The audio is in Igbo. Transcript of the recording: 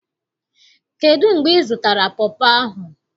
Kedu mgbe izụtara pọpọ ahụ?